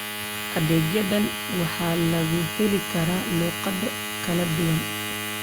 Adeegyadan waxaa lagu heli karaa luqado kala duwan.